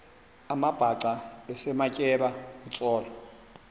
amabhaca esematyeba kutsolo